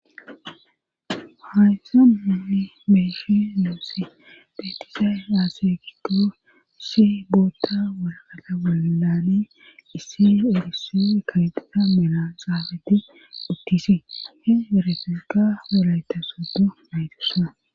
hayssa nunni beeshi loosi beetiza yaase gigoosi bootta walgala walali issi urisse kayqida mela xaafeti uttisi he ereferka wolayta sodo maytussa